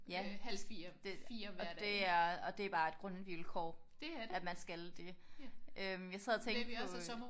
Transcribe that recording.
Ja og det er og det er bare et grundvilkår at man skal det. Øh jeg sad og tænkte på